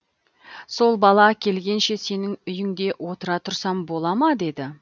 сол бала келгенше сенің үйінде отыра тұрсам бола ма деді